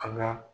An ga